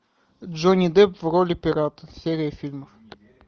джонни депп в роли пирата серия фильмов